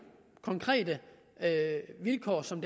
konkrete vilkår som